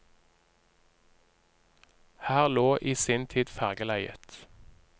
Her lå i sin tid fergeleiet.